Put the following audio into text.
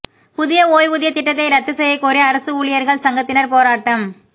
புதிய ஓய்வூதியத் திட்டத்தை ரத்து செய்யக் கோரி அரசு ஊழியா்கள் சங்கத்தினா் போராட்டம்